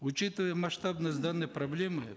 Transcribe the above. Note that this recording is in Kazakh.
учитывая масштабность данной проблемы